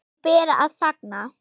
Því ber að fagna.